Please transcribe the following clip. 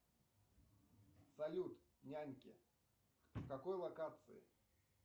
салют няньки в какой локации